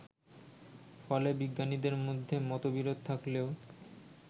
ফলে বিজ্ঞানীদের মধ্যে মতবিরোধ থাকলেও